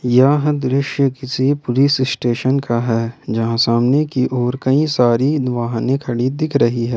यह दृश्य किसी पुलिस स्टेशन का है जहां सामने की ओर कई सारी दो वाहने खड़ी दिख रही है।